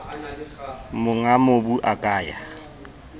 monga mobu a ka ya